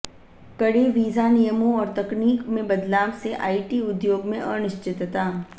कड़े वीजा नियमों और तकनीक में बदलाव से आईटी उद्योग में अनिश्चितता